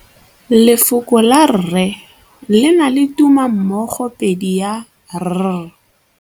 Lefoko la rre, le na le tumammogôpedi ya, r.